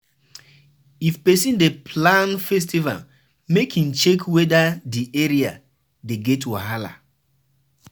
If person dey plan festival make im check weda di area dey get wahala